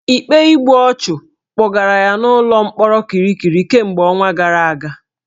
Ikpe igbu ọchụ kpọgara ya n'ụlọ mkpọrọ Kirikiri kemgbe ọnwa gara aga